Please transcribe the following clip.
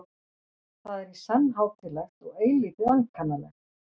Það er í senn hátíðlegt og eilítið ankannalegt.